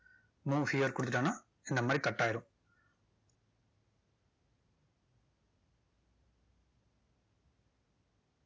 move here கொடுத்துட்டோம்னா இந்த மாதிரி cut ஆயிடும்.